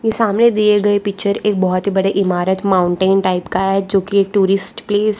सामने दिए गए पिक्चर एक बहुत ही बड़े इमारत माउंटेन टाइप का है जो की एक टूरिस्ट प्लेस --